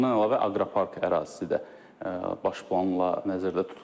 Bundan əlavə aqropark ərazisi də baş planla nəzərdə tutulur.